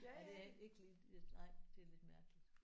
Ja det er ikke lige nej det er lidt mærkeligt